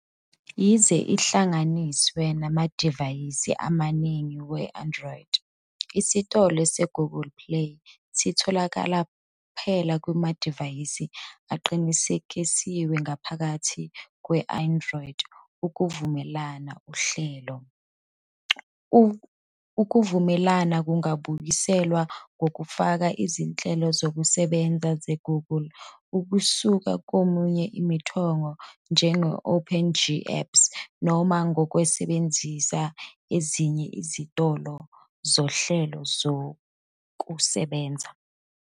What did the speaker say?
Yize ihlanganiswe namadivayisi amaningi we-Android, Isitolo se-Google Play sitholakala kuphela kumadivayisi aqinisekisiwe ngaphakathi kwe- "Android Ukuvumelana Uhlelo". Ukuvumelana kungabuyiselwa ngokufaka izinhlelo zokusebenza ze-Google kusuka komunye umthombo, njenge-OpenGApps, noma ngokusebenzisa ezinye izitolo zohlelo lokusebenza.